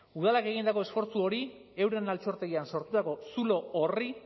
udalak egindako esfortzu hori euren altxortegian sortutako zulo horri